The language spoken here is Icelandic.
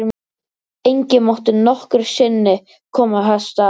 Enginn mátti nokkru sinni komast að þessu.